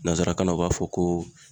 Nanzarakannan o b'a fɔ ko